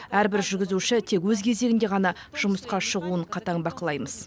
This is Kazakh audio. әрбір жүргізуші тек өз кезегінде ғана жұмысқа шығуын қатаң бақылаймыз